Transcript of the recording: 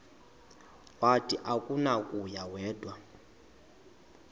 wathi akunakuya wedw